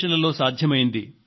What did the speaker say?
మరింత మందికి అవి ప్రేరణనిస్తాయి